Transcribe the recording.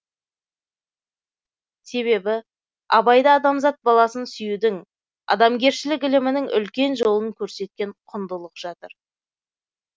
себебі абайда адамзат баласын сүюдің адамгершілік ілімінің үлкен жолын көрсеткен құндылық жатыр